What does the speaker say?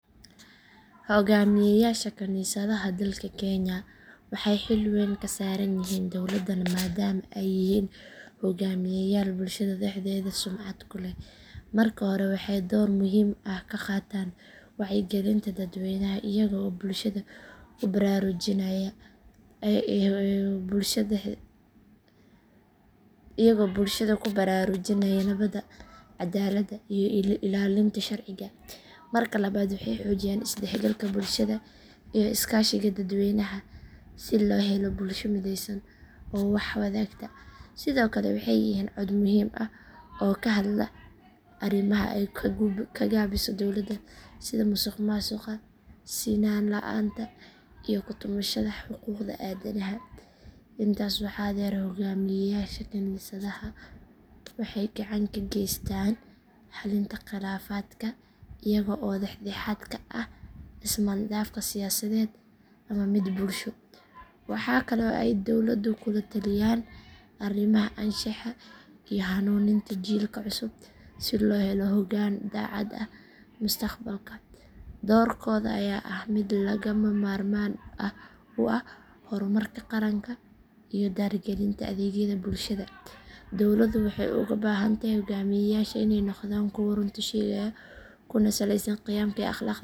Hoggaamiyeyaasha kaniisadaha dalka kenya waxay xil wayn ka saaran yihiin dowladda maadaama ay yihiin hogaamiyeyaal bulshada dhexdeeda sumcad ku leh. Marka hore waxay door muhiim ah ka qaataan wacyigelinta dadweynaha iyaga oo bulshada ku baraarujinaya nabadda, cadaaladda iyo ilaalinta sharciga. Marka labaad waxay xoojiyaan is dhexgalka bulshada iyo iskaashiga dadweynaha si loo helo bulsho midaysan oo wax wadaagta. Sidoo kale waxay yihiin cod muhim ah oo ka hadla arrimaha ay ka gaabiso dowladda sida musuqmaasuqa, sinaan la’aanta iyo ku tumashada xuquuqda aadanaha. Intaas waxaa dheer hoggaamiyeyaasha kaniisadaha waxay gacan ka geystaan xalinta khilaafaadka iyaga oo dhex dhexaad ka ah ismaandhaafka siyaasadeed ama mid bulsho. Waxaa kale oo ay dowladda kula taliyaan arrimaha anshaxa iyo hanuuninta jiilka cusub si loo helo hoggaan daacad ah mustaqbalka. Doorkooda ayaa ah mid lagama maarmaan u ah horumarka qaranka iyo dardargelinta adeegyada bulshada. Dowladda waxay uga baahan tahay hoggaamiyeyaashan inay noqdaan kuwo runta sheegaya kuna saleysan qiyamka iyo akhlaaqda wanaagsan.